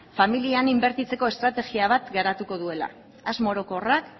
familian inbertitzeko estrategia bat garatuko duela asmo orokorrak